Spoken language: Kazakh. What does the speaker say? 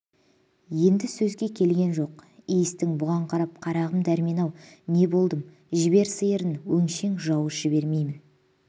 енді сөзге келген жоқ иістің бұған қарап қарағым дәрмен-ау не болдым жібер сиырын өңшең жауыз жібермеймін